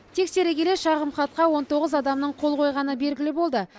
тексере келе шағымхатқа он тоғыз адамдың қол қойғаны белгілі болды